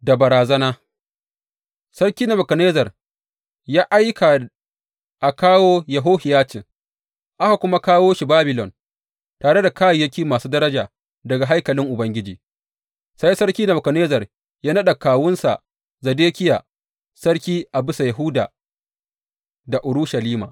Da bazara, Sarki Nebukadnezzar ya aika a kawo Yehohiyacin, aka kuma kawo shi Babilon, tare da kayayyaki masu daraja daga haikalin Ubangiji, sai Sarki Nebukadnezzar ya naɗa kawunsa Zedekiya, sarki a bisa Yahuda da Urushalima.